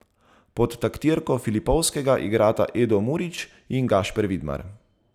Pod taktirko Filipovskega igrata Edo Murić in Gašper Vidmar.